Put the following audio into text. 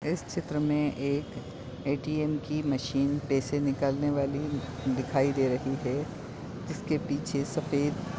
इस चित्र मे एक एटीएम की मशीन पैसे निकाल ने वाली दिखाई दे रही है। जिसके पीछे सफ़ेद--